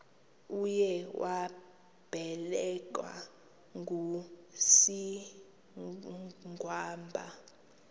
uye wabelekwa ngusigwamba